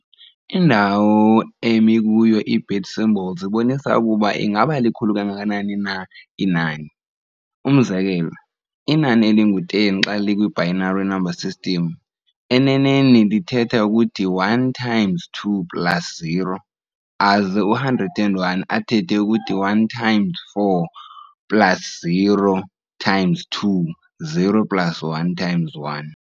Indawo emi kuyo i-bit symbols ibonisa ukuba ingaba likhulu kangakanani na inani. umzekelo, inani elingu-10 xa likwi-binary number system, enenei lithetha ukuthi 1 times 2 plus 0, aze u-101 athethe ukuthi 1 times four plus 0 times two, 0 plus 1 times 1.